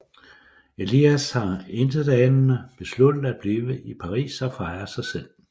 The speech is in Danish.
Elias har intetanende besluttet at blive i Paris og fejre sig selv